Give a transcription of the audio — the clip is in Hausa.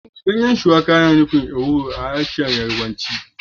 Ganyen biter yana nufin ewuro a harshen Yarbanci